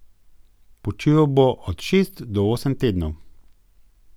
Počival bo od šest do osem tednov.